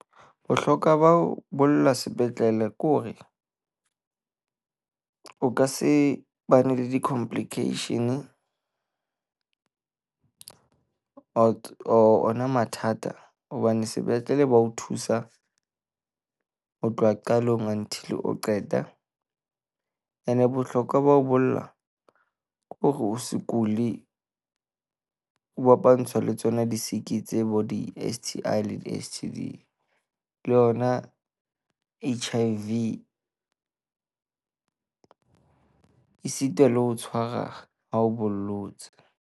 Bohlokwa ba ho bolla sepetlele ke hore o ka se bane le di-complication ona mathata hobane sepetlele ba o thusa ho tloha qalong until o qeta. Ene bohlokwa ba ho bolla ke hore o se kule, o bo fapantsha le tsona di siki tsebo di-STI le di-STD le yona H_I_V. Esita le ho tshwara ha o bollotse.